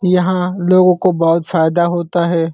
यहाँ लोगों को बोहोत फायदा होता है।